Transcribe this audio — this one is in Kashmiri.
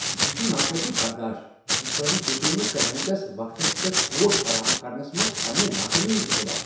یہ چھ نا قٲبل برداشت ز تۄہہ دیُتوٕ نہٕ کلائنٹس وقتس پیٹھ کوڈ فراہم کرنس منٛز پنٛنہِ ناکٲمی ہُند اطلاع۔